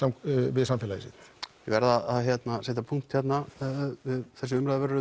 við samfélagið sitt ég verð að setja punkt hérna þessi umræða verður